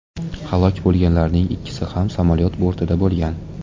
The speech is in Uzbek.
Halok bo‘lganlarning ikkisi ham samolyot bortida bo‘lgan.